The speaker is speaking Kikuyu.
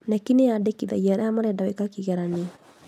KNEC nĩ yandĩkithagia arĩa marenda gwĩka kĩgeranio